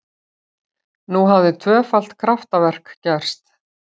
Nú hafði tvöfalt kraftaverk gerst!